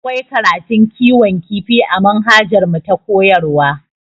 Akwai karatun kiwon kifi a manhajarmu ta koyarwa